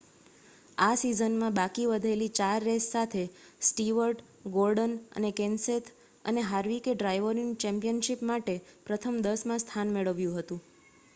આ સિઝનમાં બાકી વધેલી 4 રેસ સાથે સ્ટીવર્ટ ગોર્ડન કેનસેથ અને હાર્વિકે ડ્રાઇવરોની ચેમ્પિયનશિપ માટે પ્રથમ 10માં સ્થાન મેળવ્યું હતું